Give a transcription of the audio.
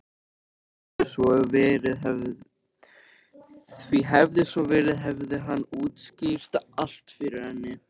Því hefði svo verið hefði hann útskýrt allt fyrir henni.